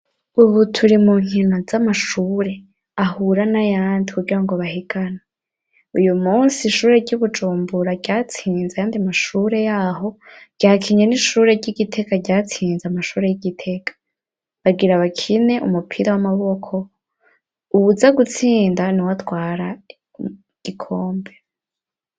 Ubu turi mu nkino z'amashure ahura n'ayandi kugirango bahiganwe ,uyu munsi ishure ry'ibujumbura ryatsinze ayandi mashure yaho ryakinye n'ishure ry'igitega ryatsinze amashure y'igiteka ,bagira bakine umupira w'amaboko ,uwuza gutsinda niwe atwara gikombe.